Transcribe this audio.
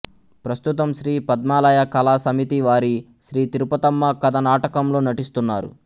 ప్రస్తుతం శ్రీ పద్మాలయ కళా సమితి వారి శ్రీ తిరుపతమ్మ కథ నాటకంలో నటిస్తున్నారు